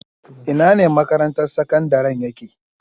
Inane makarantar sakandaren yake?